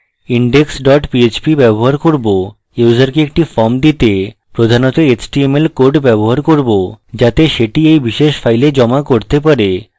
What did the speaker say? index dot php ব্যবহার করব ইউসারকে একটি form দিতে প্রধানত html code ব্যবহার করব যাতে সেটি we বিশেষ file জমা করতে পারে